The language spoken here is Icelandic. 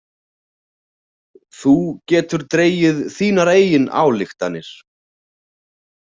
Þú getur dregið þínar eigin ályktanir.